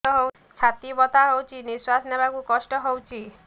ଛାତି ବଥା ହଉଚି ନିଶ୍ୱାସ ନେବାରେ କଷ୍ଟ ହଉଚି